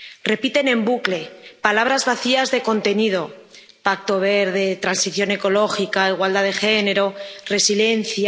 Repiten en bucle palabras vacías de contenido Pacto Verde, transición ecológica, igualdad de género, resiliencia...,